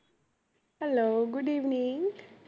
hello good evening